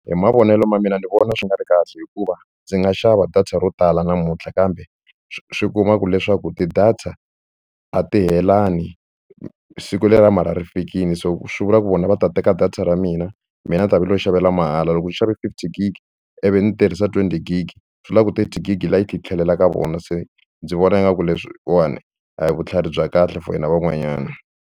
Hi mavonelo ma mina ni vona swi nga ri kahle hikuva ndzi nga xava data ro tala namuntlha kambe swi kuma ku leswaku ti-data a siku leriya ra mara ri fikile so swi vula ku vona va ta teka ra mina mina ni ta va nilo xavela mahala loko u xave fifty gig ivi ni tirhisa twenty gig swi vula ku twenty gig leya yi tlhelela ka vona se ndzi vona ingaku leswiwani a hi vutlhari bya kahle for hina van'wanyana.